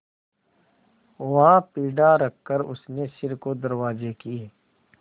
वहाँ पीढ़ा रखकर उसने सिर को दरवाजे की